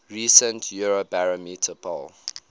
recent eurobarometer poll